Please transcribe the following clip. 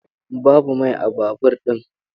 Babu mai a babur ɗin.